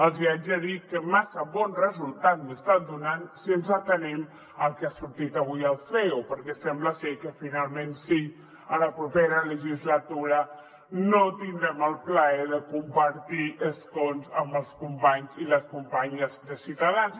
els hi haig de dir que massa bon resultat no els està donant si ens atenem al que ha sortit avui al ceo perquè sembla ser que finalment sí a la propera legislatura no tindrem el plaer de compartir escons amb els companys i les companyes de ciutadans